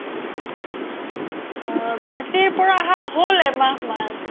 আ গুৱাহাতিৰ পৰা আহা হ্'ল এহমাহ মান